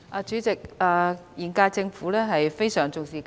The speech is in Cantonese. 主席，現屆政府非常重視教育。